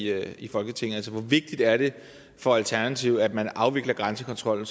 her i folketinget altså hvor vigtigt er det for alternativet at man afvikler grænsekontrollen